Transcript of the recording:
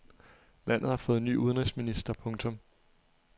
Landet har fået ny udenrigsminister. punktum